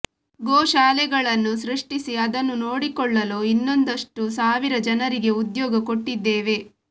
ಗೋಶಾಲೆಗಳನ್ನು ಸೃಷ್ಟಿಸಿ ಅದನ್ನು ನೋಡಿಕೊಳ್ಳಲು ಇನ್ನೊಂದಷ್ಟು ಸಾವಿರ ಜನರಿಗೆ ಉದ್ಯೋಗ ಕೊಟ್ಟಿದ್ದೇವೆ